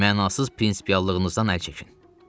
Mənasız prinsipiallığınızdan əl çəkin.